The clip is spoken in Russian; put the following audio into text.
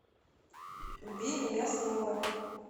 убей меня снова